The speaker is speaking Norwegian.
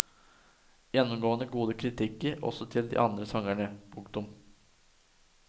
Gjennomgående gode kritikker også til de andre sangerne. punktum